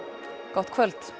gott kvöld